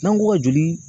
N'an ko ka joli